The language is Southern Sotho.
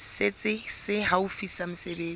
setsi se haufi sa mesebetsi